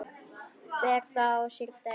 Ber það á sér delinn.